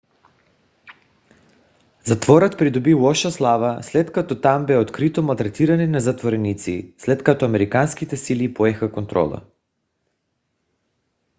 затворът придоби лоша слава след като там бе открито малтретиране на затворници след като американските сили поеха контрола